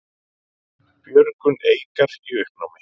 Björgun Eikar í uppnámi